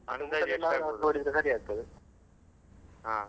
ಹಾ.